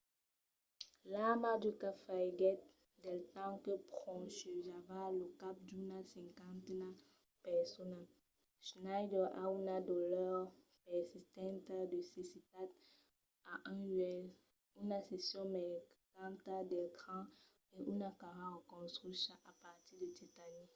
l’arma d’uka falhiguèt del temps que ponchejava lo cap d’una cinquena persona. schneider a una dolor persistenta de cecitat a un uèlh una seccion mancanta del cran e una cara reconstrucha a partir de titani